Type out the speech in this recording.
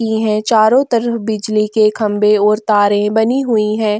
इहै चारों तरफ बिजली के खंबे और तारें बनी हुई हैं।